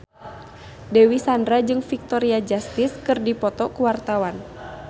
Dewi Sandra jeung Victoria Justice keur dipoto ku wartawan